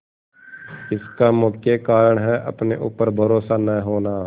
इसका मुख्य कारण है अपने ऊपर भरोसा न होना